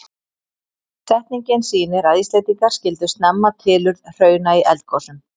Setningin sýnir að Íslendingar skildu snemma tilurð hrauna í eldgosum.